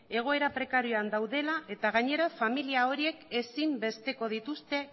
egoera prekarioan daudela eta gainera familia horiek ezinbesteko dituzte